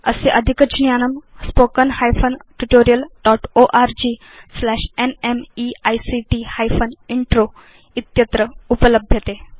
अस्य अधिकज्ञानम् spoken hyphen tutorial dot org slash NMEICT hyphen intro इत्यत्र उपलभ्यते